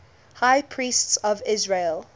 high priests of israel